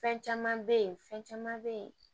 Fɛn caman bɛ yen fɛn caman bɛ yen